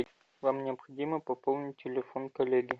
вам необходимо пополнить телефон коллеги